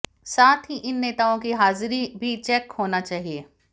साथ ही इन नेताओं की हाजिरी भी चेक होना चाहिए